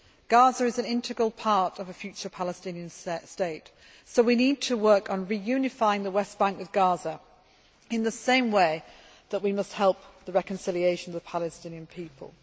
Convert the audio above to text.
Gaza is an integral part of a future Palestinian state. So we need to work on reunifying the West Bank with Gaza in the same way that we must help the reconciliation of the Palestinian people.